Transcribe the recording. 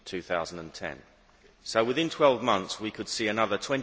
2010. So within 12 months, we could see another